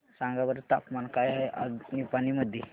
सांगा बरं तापमान काय आहे आज निपाणी मध्ये